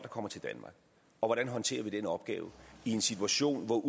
kommer til danmark og hvordan håndterer vi den opgave i en situation hvor